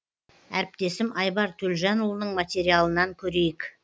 әріптесім айбар төлжанұлының материалынан көрейік